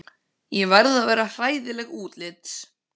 Ég er að verða hræðileg útlits.